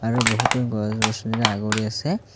আৰু বহুতো গছ গছনিৰে আগুৰি আছে।